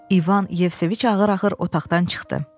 İvan Yevseviç ağır-ağır otaqdan çıxdı.